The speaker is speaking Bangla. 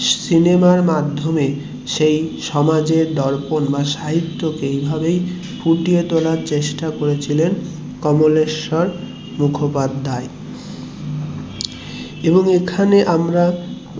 সিনেমার মাধ্যমে সেই সমাজের দর্পন সাহিত্যকে ফুটিয়ে তোলার চেষ্টা করেছিলেন কমলেশ্বর মুখোপাধ্যায় এবং এখানে আমরা